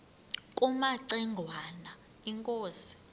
kumaci ngwana inkosi